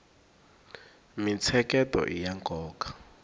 mintsheketo iya nkoka